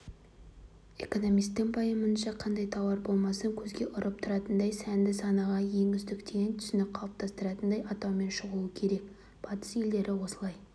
экономистің пайымынша қандай тауар болмасын көзге ұрып тұратындай сәнді санаға ең үздік деген түсінік қалыптастыратындай атаумен шығуы керек батыс елдері осылай